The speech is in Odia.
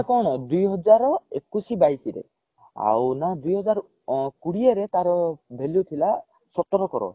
ସେଇଟା କଣ ହେଲା ଦୁଇ ହଜାର ଏକୋଇଶି ବାଇଶି ରେ ଆଉ ନ ଦୁଇ ହଜାର କୋଡିଏ ରେ ତାର value ଥିଲା ସତର crore